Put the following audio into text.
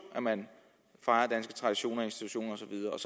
at man fejrer danske traditioner i institutioner